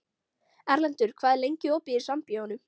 Erlendur, hvað er lengi opið í Sambíóunum?